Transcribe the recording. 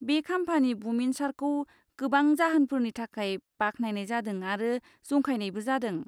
बे खाम्फानि बुमिनसारखौ गोबां जाहोनफोरनि थाखाय बाख्नायनाय जादों आरो जंखायनायबो जादों।